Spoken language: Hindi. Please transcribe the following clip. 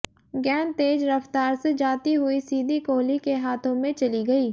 गेंद तेज रफ्तार से जाती हुई सीधी कोहली के हाथों में चली गई